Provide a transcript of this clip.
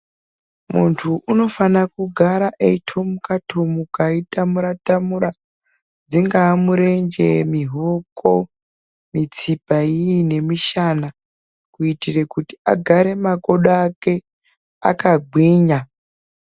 Muntu unofane kugara eyitomuka tomuka achitamura tamara dzingava murenje muhoko mutsipa iyiyi nemusana kuitira kuti agare makodo ake akagwinya.